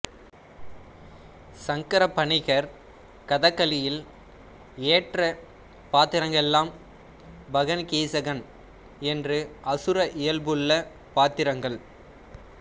சங்கரப் பணிக்கர் கதகளியில் ஏற்ற பாத்திரங்களெல்லாம் பகன்கீசகன் என்று அசுர இயல்புள்ள பாத்திரங்கள்